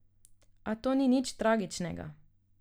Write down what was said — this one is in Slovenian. A to ni nič tragičnega.